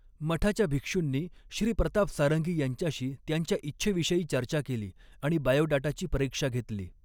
मठाच्या भिक्षूंनी श्री प्रताप सारंगी यांच्याशी त्यांच्या इच्छेविषयी चर्चा केली आणि बायोडाटाची परीक्षा घेतली.